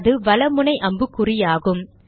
அது வல முனை அம்புக்குறியாகும்